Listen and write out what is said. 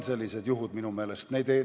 Need on minu meelest sellised juhud.